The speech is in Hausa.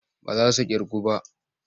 Ba za su ƙirgu ba.